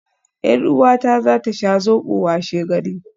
Yar uwata za ta sha Zobo washegari